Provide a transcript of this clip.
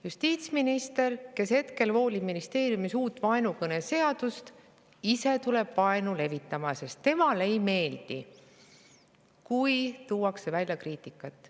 Justiitsminister, kes hetkel voolib ministeeriumis uut vaenukõneseadust, tuleb ise vaenu levitama, sest temale ei meeldi, kui tuuakse välja kriitikat.